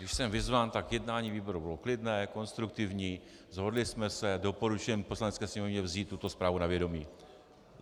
Když jsem vyzván, tak jednání výboru bylo klidné, konstruktivní, shodli jsme se, doporučujeme Poslanecké sněmovně vzít tuto zprávu na vědomí.